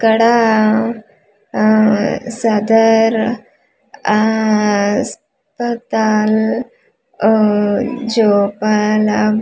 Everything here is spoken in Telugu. ఇక్కడా ఆఆ సటర్ ఆఆ పతాల్ ఊఊ జోపాల --